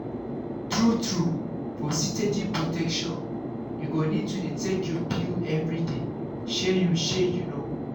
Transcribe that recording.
true-true for steady protection you go need to dey take your pill everyday. shey you shey you know?